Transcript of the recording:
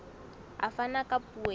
a fana ka puo ya